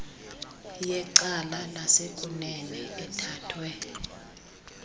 yecala lasekunene ethathwe